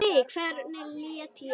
Nei, hvernig læt ég?